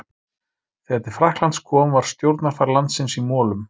Þegar til Frakklands kom var stjórnarfar landsins í molum.